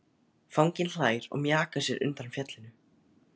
Fanginn hlær og mjakar sér undan fjallinu.